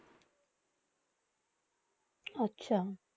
আচ্ছা